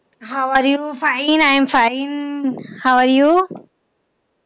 how are you fineI am finehow are you